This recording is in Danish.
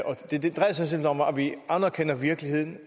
vi anerkender virkeligheden